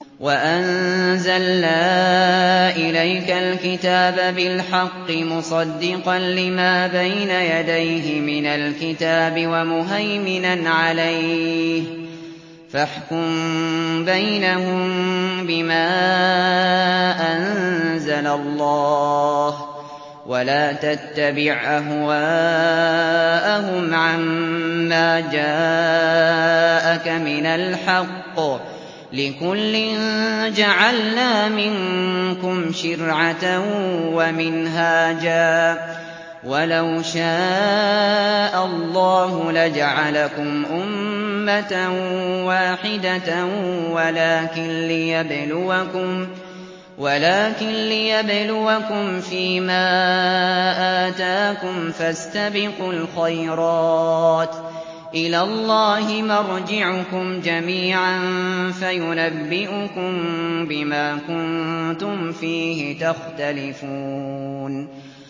وَأَنزَلْنَا إِلَيْكَ الْكِتَابَ بِالْحَقِّ مُصَدِّقًا لِّمَا بَيْنَ يَدَيْهِ مِنَ الْكِتَابِ وَمُهَيْمِنًا عَلَيْهِ ۖ فَاحْكُم بَيْنَهُم بِمَا أَنزَلَ اللَّهُ ۖ وَلَا تَتَّبِعْ أَهْوَاءَهُمْ عَمَّا جَاءَكَ مِنَ الْحَقِّ ۚ لِكُلٍّ جَعَلْنَا مِنكُمْ شِرْعَةً وَمِنْهَاجًا ۚ وَلَوْ شَاءَ اللَّهُ لَجَعَلَكُمْ أُمَّةً وَاحِدَةً وَلَٰكِن لِّيَبْلُوَكُمْ فِي مَا آتَاكُمْ ۖ فَاسْتَبِقُوا الْخَيْرَاتِ ۚ إِلَى اللَّهِ مَرْجِعُكُمْ جَمِيعًا فَيُنَبِّئُكُم بِمَا كُنتُمْ فِيهِ تَخْتَلِفُونَ